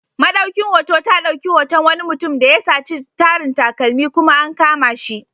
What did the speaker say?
Maɗaukin hoto ta dauki hoton wani mutum da ya saci tarin takalmi, kuma an kama shi.